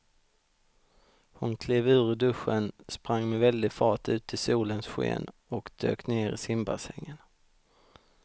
Hon klev ur duschen, sprang med väldig fart ut i solens sken och dök ner i simbassängen.